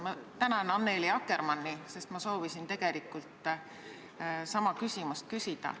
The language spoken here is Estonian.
Ma tänan Annely Akkermanni, sest ma soovisin tegelikult sama küsimust küsida.